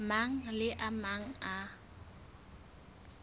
mang le a mang a